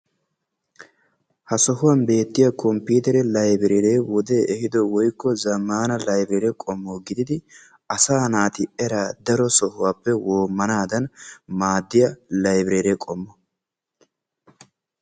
Ha sohuwan beettiya komppiitere laybireeree wodee ehiido woykko zammaana laybireere qommo gididi asaa naati eraa daro sohuwappe woommanaadan maaddiya laybireere qommo.